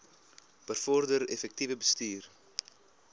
bevorder effektiewe bestuur